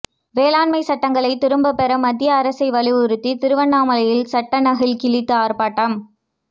வேளாண்மை சட்டங்களை திரும்ப பெற மத்திய அரசை வலியுறுத்தி திருவண்ணாமலையில் சட்ட நகல் கிழித்து ஆா்ப்பாட்டம்